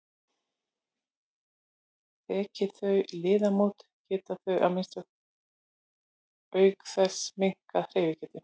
Þeki þau liðamót geta þau auk þess minnkað hreyfigetu.